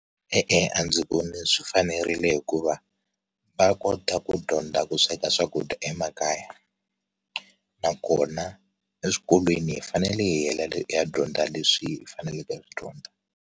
E-e, a ndzi voni swi fanerile hikuva va kota ku dyondza ku sweka swakudya emakaya nakona eswikolweni hi fanele hiya dyondza leswi faneleke ku swi dyondza.